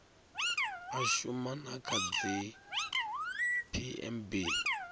a shuma na kha dzipmb